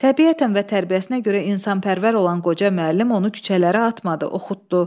Təbiətən və tərbiyəsinə görə insanpərvər olan qoca müəllim onu küçələrə atmadı, oxutdu.